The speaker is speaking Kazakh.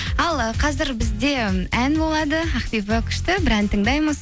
ал ы қазір бізде ән болады ақбибі күшті бір ән тыңдаймыз